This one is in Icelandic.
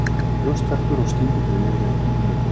Brjóstverkur og skyndidauði eru einnig möguleg.